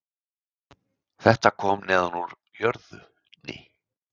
Þetta kom neðan úr jörðinni